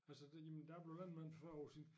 Altså da jamen da jeg blev landmand for 40 år siden